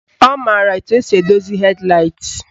Ọ maara etu esi edozi hed laịt